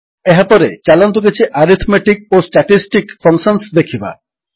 ଏହାପରେ ଚାଲନ୍ତୁ କିଛି ଆରିଥମେଟିକ୍ ଓ ଷ୍ଟାଟିଷ୍ଟିକ୍ ଫଙ୍କସନ୍ସ ଦେଖିବା